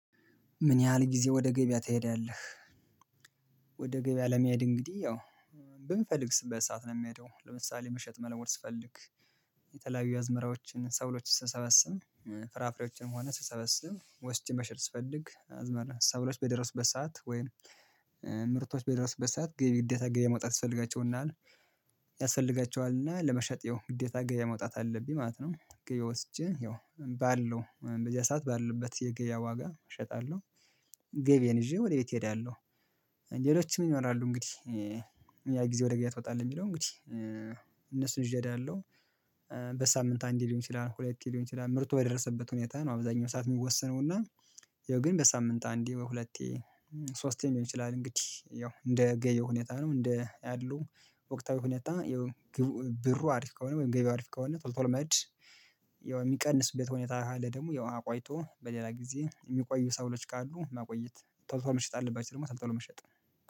ምን ያህል ጊዜ ወደ ገበያ ትሄዳለህ? ወደ ገበያ ለመሄድ እንግዲህ ያው በምፈልግበት ሰዓት ነው የምሄደው ለምሳሌ መሸጥ መለወጥ ስፈልግ የተለያዩ አዝመራዎችን ሰብሎችን ስሰበስብ ፍራፍሬዎችንም ሆነ ስሰበስብ ወስጄ መሸጥ ፈስልግ አዝመራ ሰብሎች በደረሱበት ሰዓት ወይም ምርቶች በደረሱበት ሰዓት ገቢ ግዴታ ገበያ መውጣት ይፈልጋቸውናል ያስፈልጋቸዋልና ለመሸጥ ያው ግዴታ ገበያ መውጣት አለብኝ ማለት ነው ገበያ ወጥቼ ያው ባለው በዚያ ሰዓት ባሉበት የገበያ ዋጋ እሸጣለሁ። ገቢዬን ይዤ ወደ ቤቴ እሄዳለሁ። ሌሎችንም ይኖራሉ እንግዲህ ያ ጊዜ ወደ ገበያ ትወጣለህ የሚለው እንግዲህ እነሱን ይዤ እዳሄለሁ። በሳምንት አንዴ ሊሆን ይችላል ሁለቴ ሊሆን ይችላል ምርቱ በደረሰበት ሁኔታ ነው አብዛኛው ሰዓት የሚወሰነው። እና ያው ግን በሳምንት አንዴ ወይ ሁለቴ ሶስቴም ሊሆን ይችላል። እንግዲህ ያው እንደ ገበያው ሁኔታ ነው እንደ ያሉ ወቅታዊ ሁኔታ ያው ብሩ አሪፍ ከሆነ ወይም ገበያው አሪፍ ከሆነ ቶሎ ቶሎ መሄድ። የሚቀንስበት ሁኔታ ካለ ደግሞ ያው አቆይቶ በሌላ ጊዜ የሚቆዩ ሰብሎች ካሉ ማቆየት ቶሎ ቶሎ መሸጥ ካለባቸው ደግሞ ቶሎ ቶሎ መሸጥ